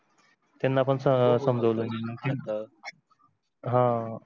त्यांना पण समजवल मी आह